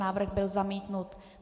Návrh byl zamítnut.